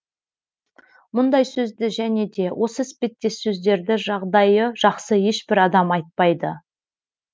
мұндай сөзді және де осы іспеттес сөздерді жағдайы жақсы ешбір адам айтпайды